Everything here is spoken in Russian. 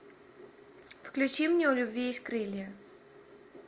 включи мне у любви есть крылья